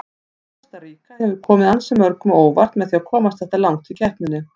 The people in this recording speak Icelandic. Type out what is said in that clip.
Kosta Ríka hefur komið ansi mörgum á óvart með að komast þetta langt í keppninni.